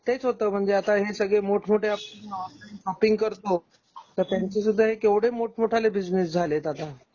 तेच होतं म्हणजे आता हे सगळे मोठमोठ्या शॉपिंग करतो तर त्यांच्या सुद्धा हे केवढे मोठं-मोठे बिजनेस झालेत आता